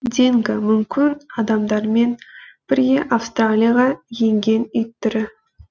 динго мүмкін адамдармен бірге австралияға енген ит түрі